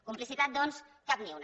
complicitat doncs cap ni una